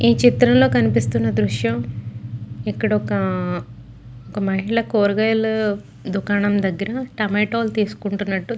ఈ చిత్రం లో కనిపిస్తున్న దృశ్యం ఇక్కడ ఒక మహిళా కూరగాయల దుకాణం దగ్గర టొమాటో లు తీసుకుంటునట్టు.